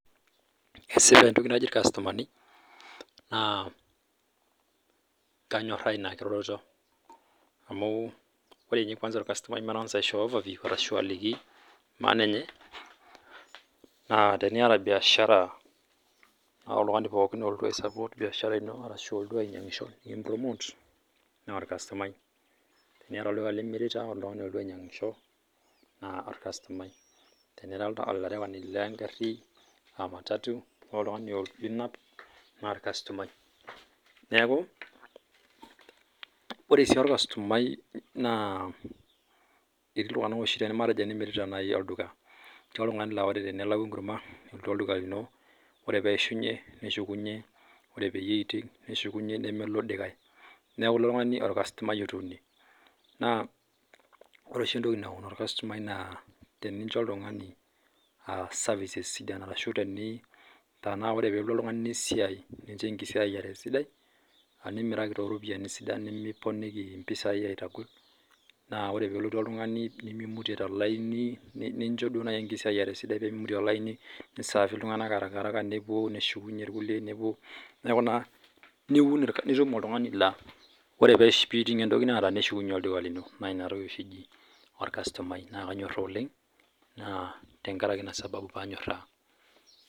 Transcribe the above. Esipa entoki naji irkastomani naa kanyooraa inakiroroto amuu ore ninye kwanza [maatang'asa aisho overview ashuu aliki maana enye naa teniyata biashara ore oltung'ani pooki olotu aisapoot biashara ino arashu olotu ainyang'sho nikim promote, naa orkastomai, teniyata olduka limirita nikilotu oltung'ani ainyang'sho naa orkastomai, tenira sii olarewani le ngarri aa matatu niyata oltung'ani linap naa orkastomai neeku ore sii orkastomai naa etii ltung'ana oo puonu ainyangishotenimirita olduka ata teneishunye ntokin neuno aaku ilo duka lino einyang' neeku ilo tung'ani orkastomai otuune ore sii entoki naun orkastomai naa tenincho ekisiaaiyiare sidai, ata teninteleliaaki ntokitin naa kiaaku orkastomai ouno. Naa inatoki oshi eji orkastomai.